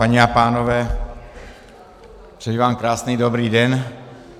Paní a pánové, přeji vám krásný dobrý den.